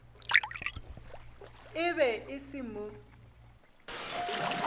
e be e se mo